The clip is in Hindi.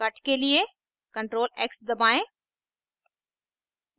cut के लिए ctrl + x दबाएं